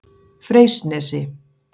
Freysnesi